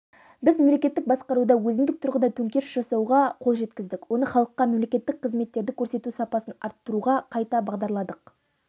біз мемлекеттік басқаруда өзіндік тұрғыда төңкеріс жасауға қол жеткіздік оны халыққа мемлекеттік қызметтерді көрсету сапасын арттыруға қайта бағдарладық